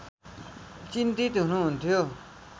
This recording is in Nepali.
चिन्तित हुनुहुन्थ्यो